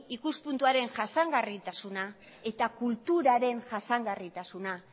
ikuspuntuaren jasangarritasuna eta kulturaren jasangarritasuna